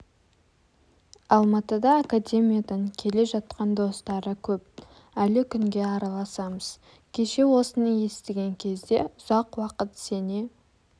алматыда академиядан келе жатқан достары көп әлі күнге араласамыз кеше осыны естіген кезде ұзақ уақыт сене